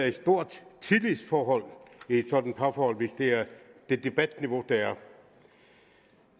et stort tillidsforhold i et sådant parforhold hvis det er det debatniveau der er